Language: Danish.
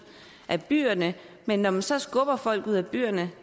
af byerne men når man så skubber folk ud af byerne